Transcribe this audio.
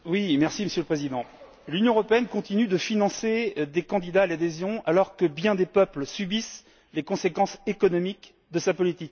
Monsieur le Président, l'Union européenne continue de financer des candidats à l'adhésion alors que bien des peuples subissent les conséquences économiques de sa politique.